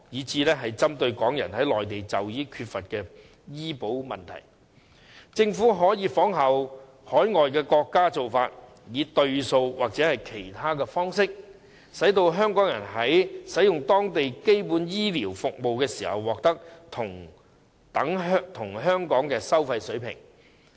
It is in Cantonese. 至於針對港人在內地就醫缺乏醫療保障的問題，政府可以仿效海外國家的做法，以"對數"或其他方式，讓香港人在使用當地基本醫療服務時獲得等於香港的服務收費水平。